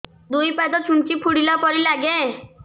ଦୁଇ ପାଦ ଛୁଞ୍ଚି ଫୁଡିଲା ପରି ଲାଗେ